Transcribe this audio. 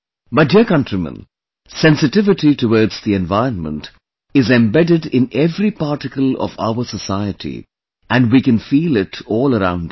My dear countrymen, sensitivity towards the environment is embedded in every particle of our society and we can feel it all around us